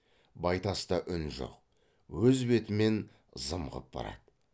байтаста үн жоқ өз бетімен зымғып барады